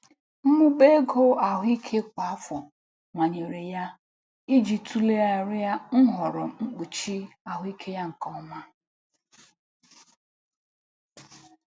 Mmụba ego ahụike kwa afọ manyere ya manyere ya i ji tulegharịa nhọrọ mkpuchi ahụike ya nke ọma.